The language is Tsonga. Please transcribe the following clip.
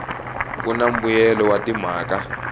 ku na mbuyelelo wa timhaka